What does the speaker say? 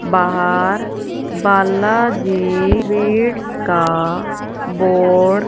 बाहर बालाजी स्वीट्स का बोर्ड --